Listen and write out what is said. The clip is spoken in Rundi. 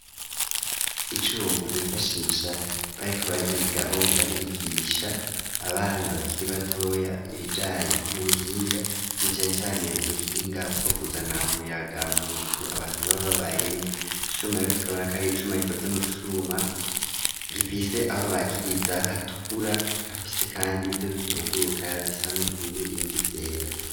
Icuma bifashisha bariko bari igabo ngrabigisha abana bakiri batoya ibijani n'ubuhinga nwa cane cane ubuhinga bwo huzana umuyaga mu nzu abantu bababayemwo icuma yibo tukabona kanri icuma ikoze mu cuma gifise aho bakiriza hatukura hafise kandi byo bitunguruka bisa n'ubururu ibindi vyera.